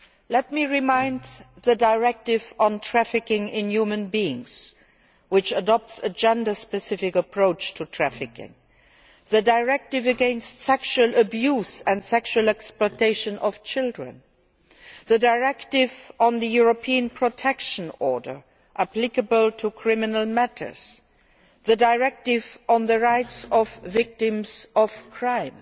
Let me remind you of the directive on trafficking in human beings which adopts a gender specific approach to trafficking as well as the directive against sexual abuse and sexual exploitation of children, the directive on the European protection order applicable to criminal matters and the directive on the rights of victims of crime.